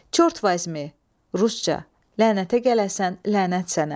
Çort vazmi, rusca, lənətə gələsən, lənət sənə.